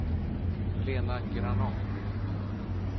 Lena Granath